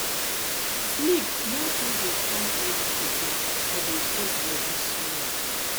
sleep no too dey come early again i dey force body small